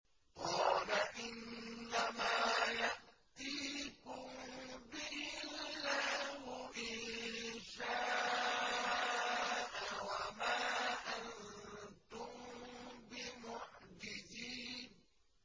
قَالَ إِنَّمَا يَأْتِيكُم بِهِ اللَّهُ إِن شَاءَ وَمَا أَنتُم بِمُعْجِزِينَ